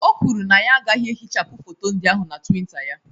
O kwuru na ya agaghị ehichapụ foto ndị ahụ na twitter ya